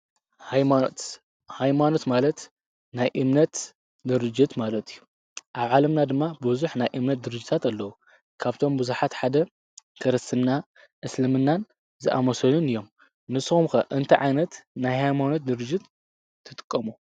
ሃይማኖት ሃይማኖት ማለት ናይ እምነት ድርጅት ማለት እዩ። ኣብ ዓለምና ድማ ብዙሕ ናይ እምነት ድርጅታት ኣለዉ። ካብቶም ብዙሓት ሓደ ክርስትና እስልምናን ዝኣመሰሉን እይም ንሶም ከ እንታይ ዓይነት ናይ ሃይማኖት ድርጅት ትጥቀሙ?